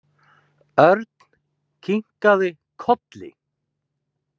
Örn kinkaði kolli.